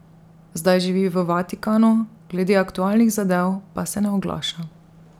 Zdaj živi v Vatikanu, glede aktualnih zadev pa se ne oglaša.